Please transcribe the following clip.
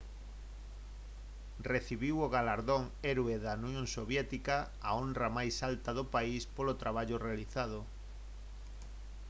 recibiu o galardón heroe da unión soviética a honra máis alta do país polo traballo realizado